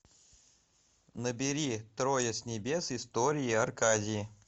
набери трое с небес история аркадии